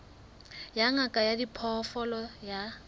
ya ngaka ya diphoofolo ya